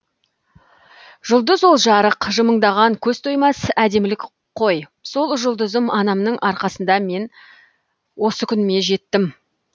жұлдыз ол жарық жымыңдаған көз тоймас әдемілік қой сол жұлдызым анамның арқасында мен осы күніме жеттім